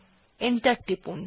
enter টিপুন